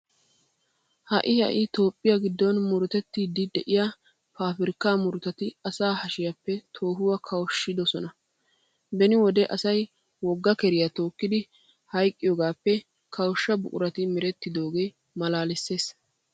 Ha"i ha"i toophphiya giddon murutettiiddi de'iya paabirkkaa murutati asaa hashiyappe toohuwa kawushshidona. Beni wode asay wogga keriya tookkiiddi hayqqiyogaappe kawushsha buqurati merettidoogee maalaalissees.